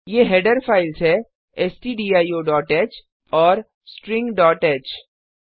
ये header files है stdioह और stringह